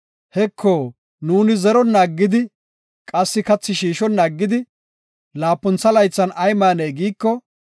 Heko, nuuni zeronna aggidi, qassi kathi shiishonna aggidi, laapuntha laythan ay maanee? giiko,